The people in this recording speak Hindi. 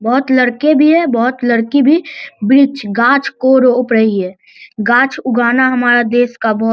बहुत लड़के भी है बहुत लड़की भी वृक्ष गाछ को रोप रही है गाछ उगाना हमारा देश का बहुत --